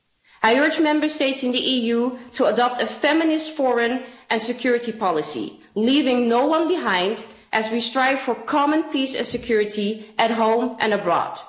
I urge Member States in the EU to adopt a feminist foreign and security policy, leaving no one behind, as we strive for common peace and security at home and abroad.